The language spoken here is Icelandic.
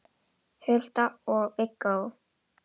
Hulda og Viggó.